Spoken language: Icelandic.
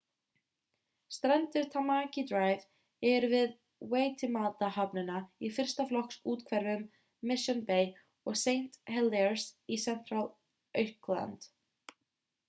strendur tamaki drive eru við waitemata-höfnina í fyrsta flokks úthverfum mission bay og st heliers í central auckland